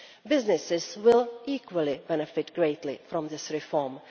Businesses will equally benefit greatly from this reform.